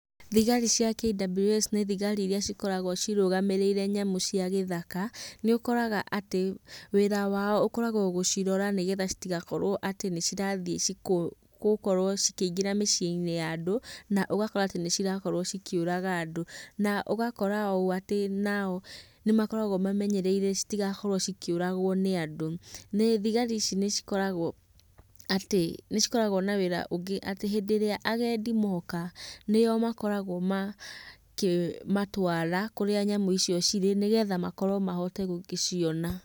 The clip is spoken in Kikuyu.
Thigari cia KWS nĩ thigari irĩa cikoragwo cirũgamĩrĩire nyamũ cia gĩthaka. Nĩũkoraga atĩ wĩra wao ũkoragwo gũcirora, nĩgetha citigakorwo atĩ nĩcirathiĩ gũkorwo cikĩingĩra mĩcinĩ ya andũ, na ũgakora atĩ nĩcirakorwo cikĩũraga andũ. Na ũgakora ũũ atĩ nao nĩmakoragwo mamenyereire citigakorwo cikĩũragwo nĩ andũ. Thigari ici nĩcikoragwo atĩ nĩcikoragwo na wĩra ũngĩ, atĩ hĩndĩ ĩrĩa agendi moka, nĩo makoragwo makĩmatwara kũrĩa nyamũ icio cirĩ, nĩgetha mahote gũgĩciona.